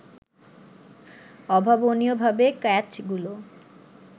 অভাবনীয়ভাবে ক্যাচগুলো